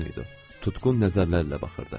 Tutqun nəzərlərlə baxırdı.